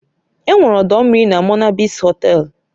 Enwere ọdọ mmiri na Monabliss Họtelu